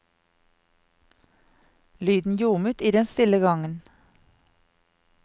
Lyden ljomet i den stille gangen.